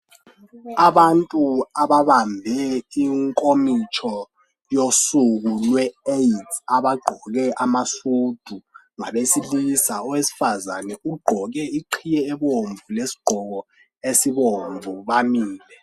abantu ababambe inkomitsho yosuku lwe Aids abagqoke amasudu ngabesilisa owesifazana ugqoke iqhiye ebomvu lesigqoko esibomvu bamile